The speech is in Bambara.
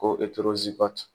Ko